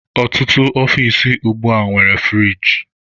Ọtụtụ ọfici ugbua nwere furigi.